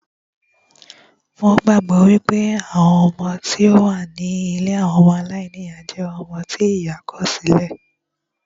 Wón gbàgbọ́ wípé àwọn ọmọ tí ó wà ní ilée ọmọ aláìníyá jẹ́ ọmọ tí ìyá kọ̀ sí lẹ̀